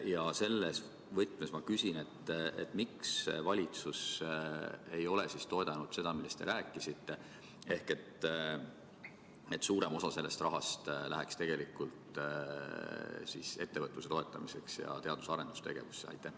Ja selles võtmes ma küsin, miks valitsus ei ole toetanud seda, millest te rääkisite: et suurem osa sellest rahast läheks tegelikult ettevõtluse toetamiseks ja teadus- ja arendustegevusse?